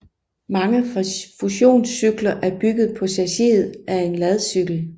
Mange funktionscykler er bygget på chassiset af en ladcykel